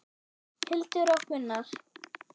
Hildur og Gunnar.